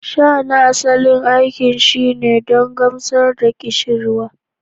Sha na asali aikin shine don gamsar da ƙishirwa